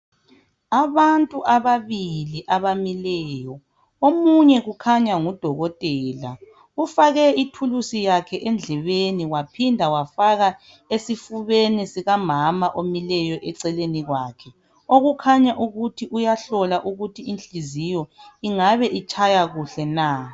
Abantu ababili abamileyo omunye kukhanya ngudokotela, ufake ithulusi yakhe endlebeni waphinda wafaka esifubeni sikamama omileyo eceleni kwakhe. Okukhanya ukuthi uyahlola ukuthi inhliziyo ingabe itshaya kuhle na.